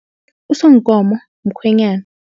Usonkomo mkhwenyana.